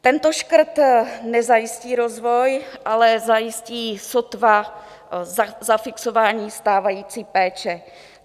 Tento škrt nezajistí rozvoj, ale zajistí sotva zafixování stávající péče.